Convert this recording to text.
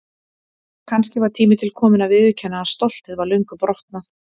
Kannski var tími til kominn að viðurkenna að stoltið var löngu brotnað.